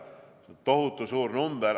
See on tohutu suur number!